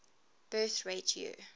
birth rate year